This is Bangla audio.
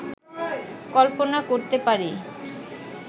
কল্পনা করতে পারি